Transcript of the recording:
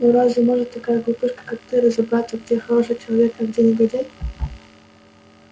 ну разве может такая глупышка как ты разобраться где хороший человек а где негодяй